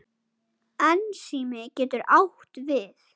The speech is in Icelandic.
Ensími getur átt við